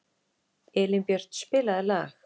Elínbjört, spilaðu lag.